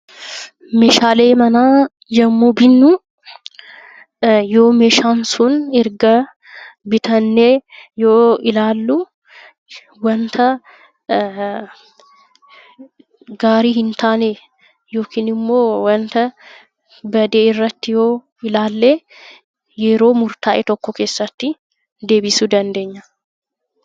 Meeshaalee manaa yommuu binnu, yoo meeshaan sun erga bitannee yoo ilaallu waanta gaarii hin taane yookiin immoo waanta badii irratti yoo ilaalle yeroo murtaa'e tokko keessatti deebisuu dandeenya.